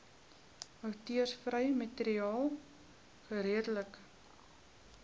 outeursregvrye materiaal geredelik